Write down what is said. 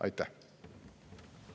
Aitäh!